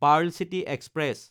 Perl City express